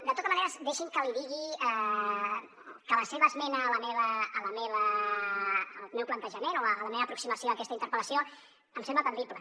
de tota manera deixi’m que li digui que el seu esment al meu plantejament o a la meva aproximació a aquesta interpel·lació em sembla atendible